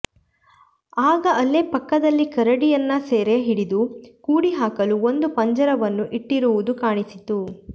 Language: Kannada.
ಆಗ ಅಲ್ಲೇ ಪಕ್ಕದಲ್ಲಿ ಕರಡಿಯನ್ನು ಸೆರೆ ಹಿಡಿದು ಕೂಡಿಹಾಕಲು ಒಂದು ಪಂಜರವನ್ನು ಇಟ್ಟಿರುವುದೂ ಕಾಣಿಸಿತು